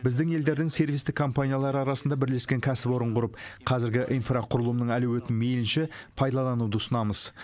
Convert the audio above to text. біздің елдің сервистік компаниялары арасында бірлескен кәсіпорын құрып қазіргі инфрақұрылымның әлеуетін мейлінше пайдалануды ұсынамыз